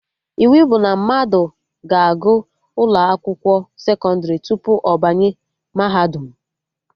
Iwu bụ na mmadụ ga-agụ ụlọ akwụkwọ sekọndrị tupu ọ banye mahadum